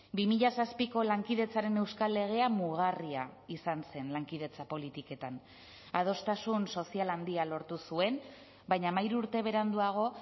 bi mila zazpiko lankidetzaren euskal legea mugarria izan zen lankidetza politiketan adostasun sozial handia lortu zuen baina hamairu urte beranduago